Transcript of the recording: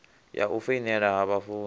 ya u foinela ha vhafunzi